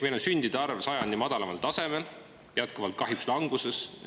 Meil on sündide arv sajandi madalaimal tasemel, see on kahjuks jätkuvalt languses.